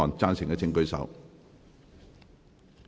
贊成的請舉手。